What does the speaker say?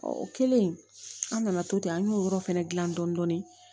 o kɛlen an nana to ten an y'o yɔrɔ fɛnɛ dilan dɔɔnin